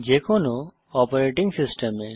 যে কোনো অপারেটিং সিস্টেমে